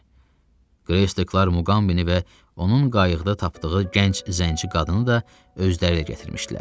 Greystaklar Muqambini və onun qayıqda tapdığı gənc zənci qadını da özləriylə gətirmişdilər.